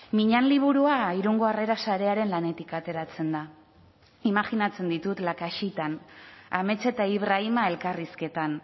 miñan liburua irungo harrera sarearen lanetik ateratzen da imajinatzen ditut lakaxitan amets eta ibrahima elkarrizketan